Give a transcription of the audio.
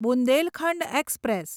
Bundelkhand express